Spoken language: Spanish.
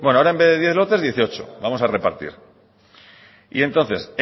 bueno ahora en vez de diez lotes dieciocho vamos a repartir y entonces